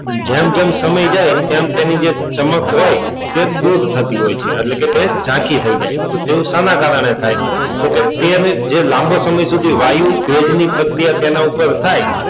પણ જેમ જેમ સમય જાય તેમ તેમ તેની ચમક હોય તે દૂર થતી હોય છે એટલે કે ઝાંખી થઈ જાય એવું શાના કારણે થાય તો કે તેને લાંબો સમય સુધી વાયુ વેગની પ્રક્રિયા તેના ઉપર થાય,